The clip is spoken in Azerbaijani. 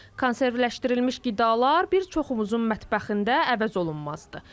Konservləşdirilmiş qidalar bir çoxumuzun mətbəxində əvəz olunmazdır.